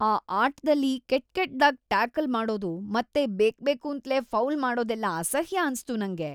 ಆ ಆಟದಲ್ಲಿ ಕೆಟ್‌ಕೆಟ್ದಾಗಿ ಟ್ಯಾಕಲ್‌ ಮಾಡೋದು ಮತ್ತೆ ಬೇಕ್ಬೇಕೂಂತ್ಲೇ ಫೌಲ್‌ ಮಾಡೋದೆಲ್ಲ ಅಸಹ್ಯ ಅನ್ಸ್ತು ನಂಗೆ.